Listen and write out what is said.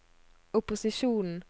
opposisjonen